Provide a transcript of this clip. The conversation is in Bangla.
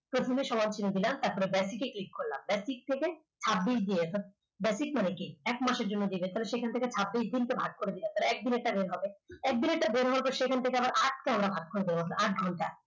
প্রথমে সমান চিহ্ন দিলাম তারপর basic এ click করলাম basic থেকে ছাব্বিশ দিয়ে basic মানে কি এক মাসের জন্য যে বেতন সেখান থেকে সেখান থেকে ছাব্বিশ দিন কে ভাগ করে দেওয়া তাহলে একদিন একটা বের হবে একদিনের টা বের হওয়ার পর সেখান থেকে আটকে ভাগ করে দেবো আট ঘন্টা